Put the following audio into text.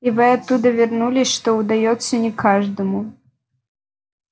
и вы оттуда вернулись что удаётся не каждому